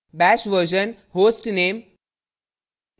* bash _ version hostname